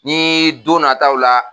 Ni don nataw la